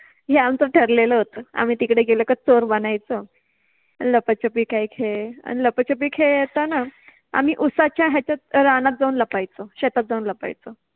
हे आमच ठरलेल होत, आम्हि तिकडे गेलो तर चोर बनायच, लपाछपि काइ खेळ, आणि लपाछपि खेळताना आम्हि उसाच्या ह्याच्या रानात जाउन लपायचो, शेतात जाउन लपायचो